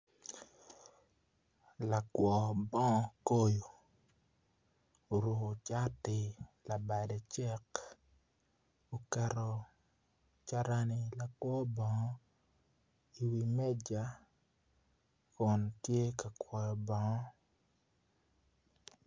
Lakwor bonog koyo oruko cati labade cek oketo carana lakwor bonog i wi meca kun tye ka kwoyo bongo.